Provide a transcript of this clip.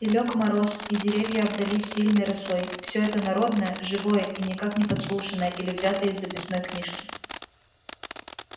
и лёг мороз и деревья обдались сильной росой все это народное живое и никак не подслушанное или взятое из записной книжки